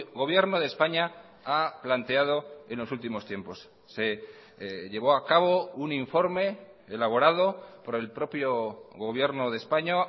gobierno de españa ha planteado en los últimos tiempos se llevó a cabo un informe elaborado por el propio gobierno de españa